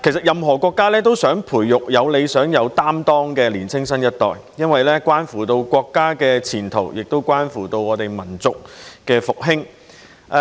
任何國家也希望培育有理想、有擔當的年青新一代，因為這關乎國家的前途和民族的復興。